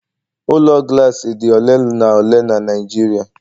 Ụlọ Glassi dị ole na ole na Nijiria